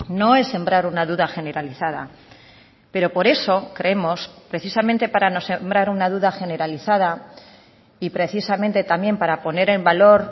no es sembrar una duda generalizada pero por eso creemos precisamente para no sembrar una duda generalizada y precisamente también para poner en valor